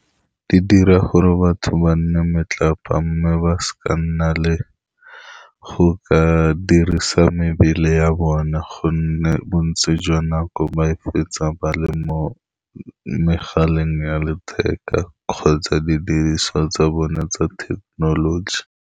Di dira gore batho ba nne metlapa, mme ba seka ba nna le go ka dirisa mebele ya bone, ka gonne bontsi jwa nako ba e fetsa ba le mo megaleng ya letheka kgotsa didiriswa tsa bone tsa thekenoloji.